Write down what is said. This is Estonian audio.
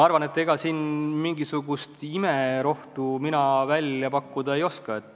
Ega ma siin mingisugust imerohtu välja pakkuda ei oska.